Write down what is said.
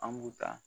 An b'u ta